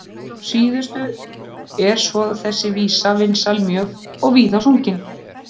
Að síðustu er svo þessi vísa vinsæl mjög og víða sungin.